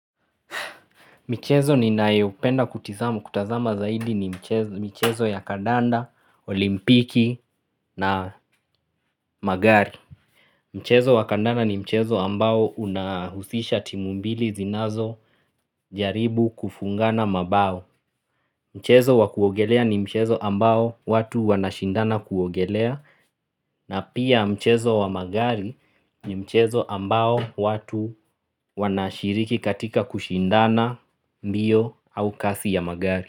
Michezo ninayopenda kutizama kutazama zaidi ni michezo ya kandanda, olimpiki na magari Mchezo wa kandanda ni mchezo ambao unahusisha timu mbili zinazojaribu kufungana mabao Mchezo wa kuogelea ni mchezo ambao watu wanashindana kuogelea na pia mchezo wa magari ni mchezo ambao watu wanashiriki katika kushindana mbio au kasi ya magari.